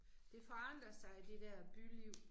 Det forandrer sig det der byliv